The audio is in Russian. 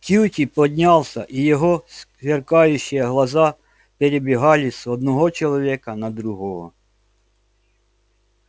кьюти поднялся и его сверкающие глаза перебегали с одного человека на другого